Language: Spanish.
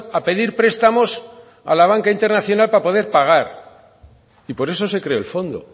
a pedir prestamos a la banca internacional para poder pagar y por eso se creó el fondo